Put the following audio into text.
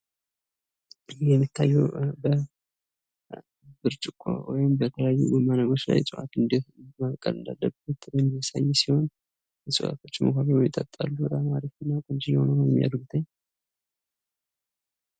ይህ በምስሉ ላይ የምናየው በብርጭቆ ወይም በተለያዪ እቃዎች እፅዋት እንደት ማብቀል እንዳለብን የሚያሳይ ሲሆን። እፅዋቶችን ውሃ ያጠጣልናል።